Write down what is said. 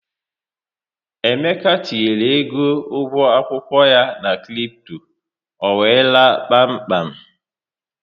Emeka tinyere égo ụgwọ akwụkwọ ya na kripto, ọ wéé laa kpám kpám